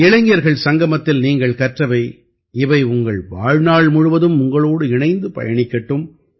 இளைஞர்கள் சங்கமத்தில் நீங்கள் கற்றவை இவை உங்கள் வாழ்நாள் முழுவதும் உங்களோடு இணைந்து பயணிக்கட்டும்